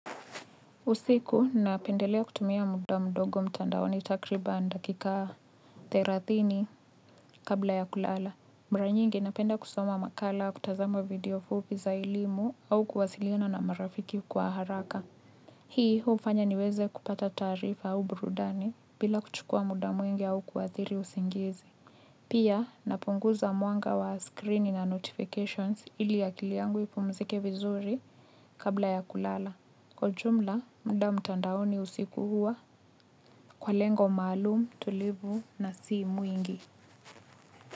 Usiku napendelea kutumia muda mdogo mtandaoni takribani dakika thelathini kabla ya kulala. Mara nyingi napenda kusoma makala au kutazama video fupi za elimu au kuwasiliana na marafiki kwa haraka. Hii hufanya niweze kupata taarifa au burudani bila kuchukua muda mwingi au kuathiri usingizi. Pia, napunguza mwanga wa skrini na notifications ili akili yangu ipumzike vizuri kabla ya kulala. Kwa jumla, muda mtandaoni usiku huwa kwa lengo maalumu, tulivu na si mwingi.